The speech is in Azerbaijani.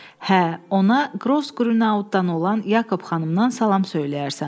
Hə, ona Qross Qrünauudan olan Yakob xanımdan salam söyləyərsən.